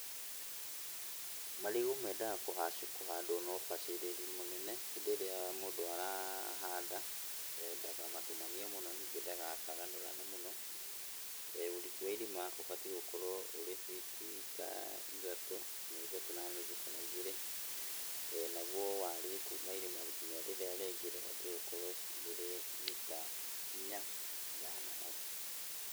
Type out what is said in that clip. Marigũ mendaga kũhandwo na ũbacĩrĩri mũnene hĩndĩ ĩrĩa mũndũ arahanda, ndakamatumanie mũno ningĩ ndagatagũrane mũno. Ũriku wa irima ũbatiĩ gũkorwo ũrĩ fiti ta ithatũ, kinya ithatũ na nuthũ kana igĩrĩ. Naguo warie kuma irima kinya rĩrĩa rĩngĩ rĩbatiĩ gũkorwo rĩrĩ mita inya ithano hau.